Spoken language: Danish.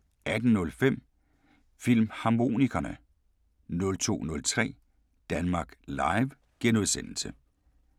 18:05: Filmharmonikerne 02:03: Danmark Live *